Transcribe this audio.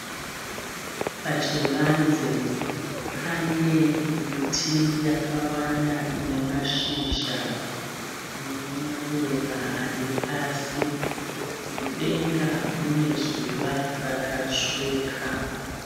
Pachivanze pane miti yakawanda ine mashizha nemaruva ari pasi. Mudenga mune zuva rakatsvuka.